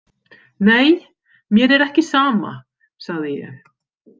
Nei, mér er ekki sama, sagði ég.